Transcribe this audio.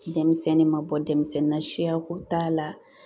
Denmisɛnnin ma bɔ denmisɛnnin na siyako t'a la